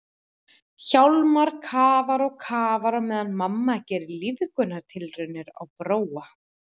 Hjálmar kafar og kafar á meðan mamma gerir lífgunartilraunir á Bróa.